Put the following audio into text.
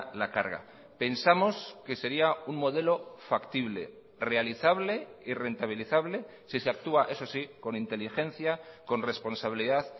la carga pensamos que sería un modelo factible realizable y rentabilizable si se actúa eso sí con inteligencia con responsabilidad